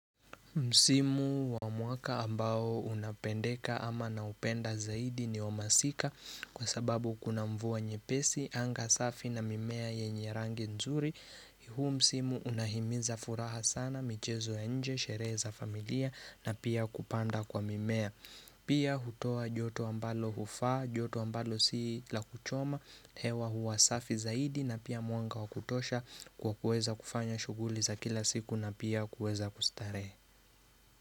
Msimu wa mwaka ambao unapendeka ama na upenda zaidi ni wamasika kwa sababu kuna mvua nyepesi, anga safi na mimea yenye rangi nzuri. Huu msimu unahimiza furaha sana, michezo ya nje, sherehe za familia na pia kupanda kwa mimea. Pia hutua joto ambalo hufa, joto ambalo sila kuchoma, hewa hua safi zaidi na pia mwanga wakutosha kwa kuweza kufanya shuguli za kila siku na pia kuweza kustarehe.